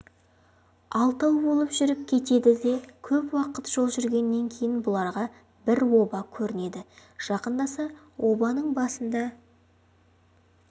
алтау болып жүріп кетеді көп уақыт жол жүргеннен кейін бұларға бір оба көрінеді жақындаса обаның басында